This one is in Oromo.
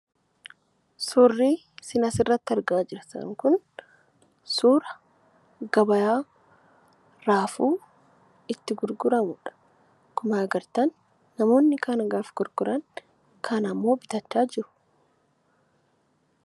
Suurrii sin asirratti argaa jirtan kun suura gabayaa raafuu itti gurguramudha. Akkuma agartan namoonni kaan gaafa gurguran kaan ammoo bitachaa jiru.